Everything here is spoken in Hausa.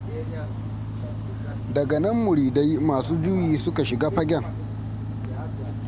daga nan muridai masu juyi suka shiga fagen